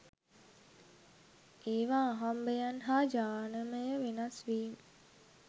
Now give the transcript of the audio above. ඒව අහම්බයන් හා ජානමය වෙනස් වීම්